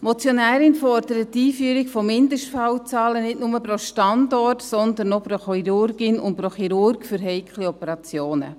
Die Motionärin fordert die Einführung von Mindestfallzahlen, nicht nur pro Standort, sondern auch pro Chirurgin oder Chirurg für heikle Operationen.